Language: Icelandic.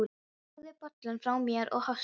Ég lagði bollann frá mér og hóstaði.